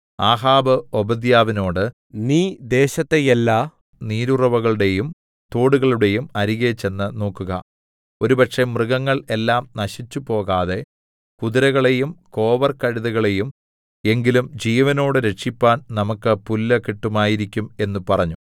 ആഹാബ് ഓബദ്യാവിനോട് നീ ദേശത്തെ എല്ലാ നീരുറവുകളുടെയും തോടുകളുടെയും അരികെ ചെന്ന് നോക്കുക ഒരുപക്ഷേ മൃഗങ്ങൾ എല്ലാം നശിച്ചുപോകാതെ കുതിരകളെയും കോവർകഴുതകളെയും എങ്കിലും ജീവനോടെ രക്ഷിപ്പാൻ നമുക്ക് പുല്ല് കിട്ടുമായിരിക്കും എന്ന് പറഞ്ഞു